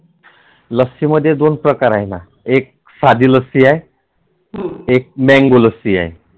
लस्सीमध्ये दोन प्रकार आहेत एक साधी लस्सी आहे एक Mango लस्सी आहे.